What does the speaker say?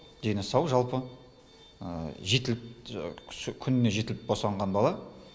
дені сау жалпы жетіліп күніне жетіліп босанған бала